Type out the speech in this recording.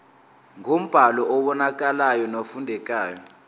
ngombhalo obonakalayo nofundekayo